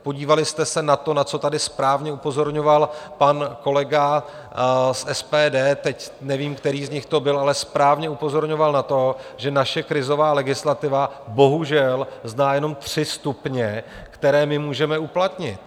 Podívali jste se na to, na co tady správně upozorňoval pan kolega z SPD, teď nevím, který z nich to byl, ale správně upozorňoval na to, že naše krizová legislativa bohužel zná jenom tři stupně, které my můžeme uplatnit?